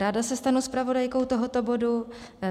Ráda se stanu zpravodajkou tohoto bodu.